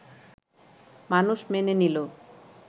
মানুষ মেনে নিল